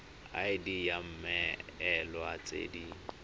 id ya mmoelwa tse di